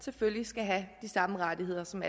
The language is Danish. selvfølgelig skal have de samme rettigheder som